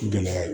Gɛlɛya ye